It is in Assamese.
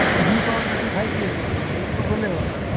যি পাওঁ তাকে খাই দি আছো আৰু ভোকতো গলে হল আৰু